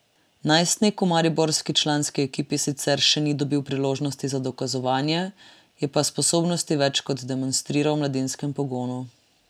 Najstnik v mariborski članski ekipi sicer še ni dobil priložnosti za dokazovanje, je pa sposobnosti več kot demonstriral v mladinskem pogonu.